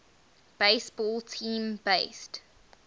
baseball team based